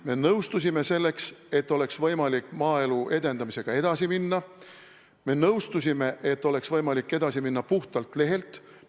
Me nõustusime selleks, et oleks võimalik maaelu edendamisega edasi minna, me nõustusime selleks, et oleks võimalik edasi minna puhtalt lehelt.